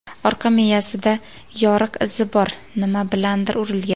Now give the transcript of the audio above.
Orqa miyasida yoriq izi bor, nima bilandir urilgan.